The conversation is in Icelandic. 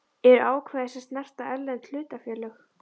eru ákvæði sem snerta erlend hlutafélög.